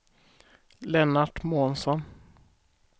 Lennart Månsson